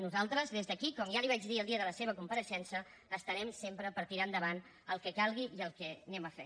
nosaltres des d’aquí com ja li vaig dir el dia de la seva compareixença estarem sempre per tirar endavant el que calgui i el que anem a fer